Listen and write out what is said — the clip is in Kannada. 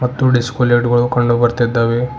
ತ್ತು ಡಿಸ್ಕೋ ಲೈಟುಗಳು ಕಂಡು ಬರ್ತಿದ್ದಾವೆ.